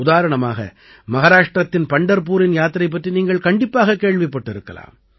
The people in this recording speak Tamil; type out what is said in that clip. உதாரணமாக மஹாராஷ்டிரத்தின் பண்டர்பூரின் யாத்திரை பற்றி நீங்கள் கண்டிப்பாகக் கேள்விப்பட்டிருக்கலாம்